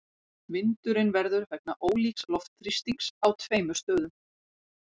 Vindurinn verður vegna ólíks loftþrýstings á tveimur stöðum.